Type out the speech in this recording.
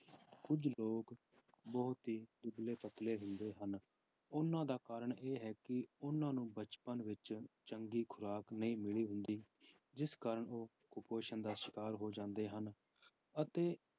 ਕੁੱਝ ਲੋਕ ਬਹੁਤ ਹੀ ਦੁਬਲੇ ਪਤਲੇ ਹੁੰਦੇ ਹਨ, ਉਹਨਾਂ ਦਾ ਕਾਰਨ ਇਹ ਹੈ ਕਿ ਉਹਨਾਂ ਨੂੰ ਬਚਪਨ ਵਿੱਚ ਚੰਗੀ ਖੁਰਾਕ ਨਹੀਂ ਮਿਲੀ ਹੁੰਦੀ ਜਿਸ ਕਾਰਨ ਉਹ ਕੁਪੋਸ਼ਣ ਦਾ ਸ਼ਿਕਾਰ ਹੋ ਜਾਂਦੇ ਹਨ ਅਤੇ